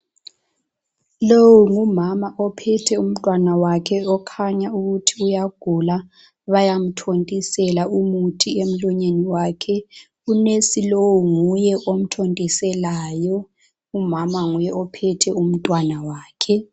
Lowu ngumama ophethe umntwana wakhe okhanya ukuthi uyagula .Bayamthontisela umuthi emlonyeni wakhe .U"nurse " lowu nguye omthontiselayo. Umama nguye ophethe umntwana wakhe.